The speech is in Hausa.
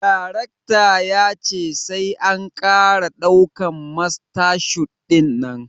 Darecta ya ce sai an kara daukan masta shot dinnan